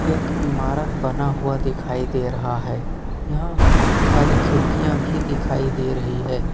एक इमारत बना हुआ दिखाई दे रहा है यहां बहुत सारी खिड़कियां भी दिखाई दे रही है।